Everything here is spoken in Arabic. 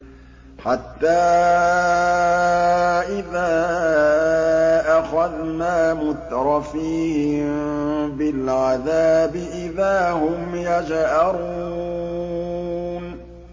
حَتَّىٰ إِذَا أَخَذْنَا مُتْرَفِيهِم بِالْعَذَابِ إِذَا هُمْ يَجْأَرُونَ